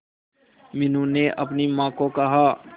मीनू ने अपनी मां को कहा